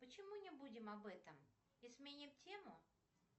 почему не будем об этом и сменим тему